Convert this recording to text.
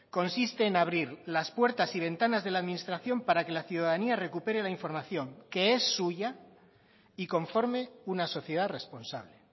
consiste en abrir las puertas y ventanas de la administración para que la ciudadanía recupere la información que es suya y conforme una sociedad responsable